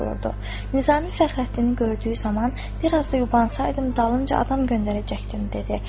Nizami Fəxrəddini gördüyü zaman bir az da yubansaydım dalınca adam göndərəcəkdim dedi.